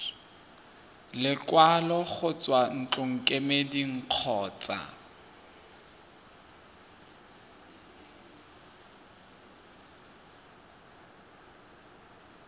lekwalo go tswa ntlokemeding kgotsa